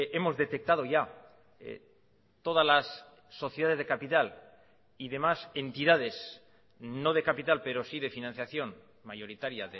hemos detectado ya todas las sociedades de capital y de más entidades no de capital pero sí de financiación mayoritaria